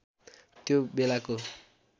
त्यो बेलाको